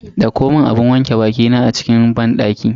Dauko mun abun wanke bakina a cikin banɗaki.